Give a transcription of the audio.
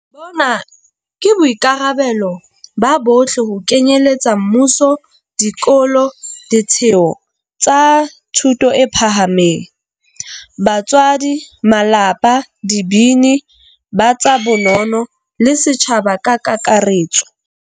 Bona ke boikarabelo ba bohle ho kenyeletsa mmuso, dikolo, ditheo tsa thuto e phahameng, batswadi, malapa, dibini, ba tsa bono no, le setjhaba ka kakaretso.